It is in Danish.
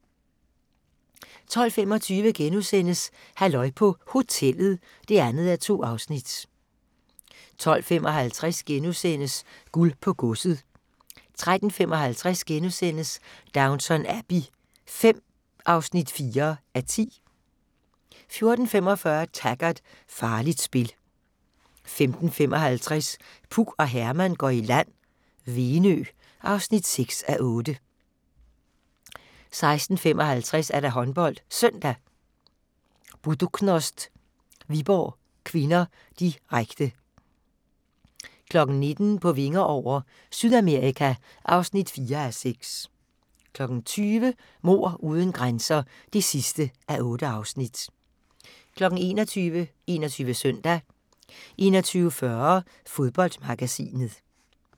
12:25: Halløj på Hotellet (2:2)* 12:55: Guld på godset * 13:55: Downton Abbey V (4:10)* 14:45: Taggart: Farligt spil 15:55: Puk og Herman går i land - Venø (6:8) 16:55: HåndboldSøndag: Buducnost-Viborg (k), direkte 19:00: På vinger over - Sydamerika (4:6) 20:00: Mord uden grænser (8:8) 21:00: 21 Søndag 21:40: Fodboldmagasinet